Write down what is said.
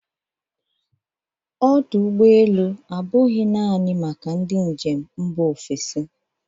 Ọdụ ụgbọ elu abụghị naanị maka ndị njem mba ofesi.